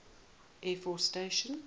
air force station